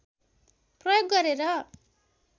प्रयोग गरेर